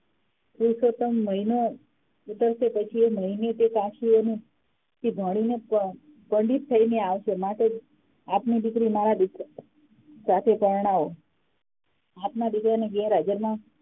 પુરુષોત્તમ મહિનો ઉતરશે પછી એ મહીને પાછો એને તે ભણી ને પાછો પંડિત થયી ને આવશે માટે આપની ની દીકરી મારા દીકરા સાથે પરણાવો આપના દીકરા ને બે